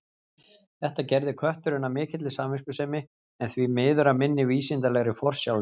Þetta gerði kötturinn af mikilli samviskusemi, en því miður af minni vísindalegri forsjálni.